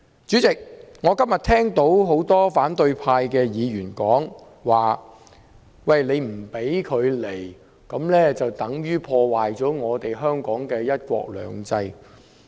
主席，我今天聽到很多反對派議員說，不准馬凱入境等於破壞香港的"一國兩制"。